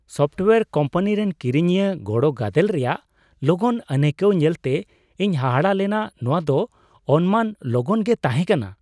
Software company ᱨᱮᱱ ᱠᱤᱨᱤᱧᱤᱭᱟᱹ ᱜᱚᱲᱚ ᱜᱟᱫᱮᱞ ᱨᱮᱭᱟᱜ ᱞᱚᱜᱚᱱ ᱟᱹᱱᱟᱹᱭᱠᱟᱹᱣ ᱧᱮᱞᱛᱮ ᱤᱧ ᱦᱟᱦᱟᱲᱟᱜ ᱞᱮᱱᱟ ᱾ᱱᱚᱣᱟ ᱫᱚ ᱚᱱᱢᱟᱱ ᱞᱚᱜᱚᱱᱜᱮ ᱛᱟᱦᱮ ᱠᱟᱱᱟ ᱾